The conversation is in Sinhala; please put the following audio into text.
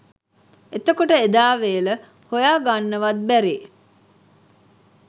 එතකොට එදා වේල හොයාගන්නවත් බැරි